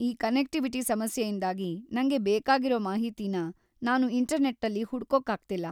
ಈ ಕನೆಕ್ಟಿವಿಟಿ ಸಮಸ್ಯೆಯಿಂದಾಗಿ ನಂಗೆ ಬೇಕಾಗಿರೋ ಮಾಹಿತಿನ ನಾನು ಇಂಟರ್ನೆಟ್ಟಲ್ಲಿ ಹುಡ್ಕೋಕಾಗ್ತಿಲ್ಲ.